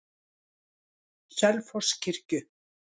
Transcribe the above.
Selfosskirkju